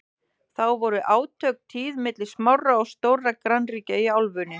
þá voru átök tíð milli smárra og stórra grannríkja í álfunni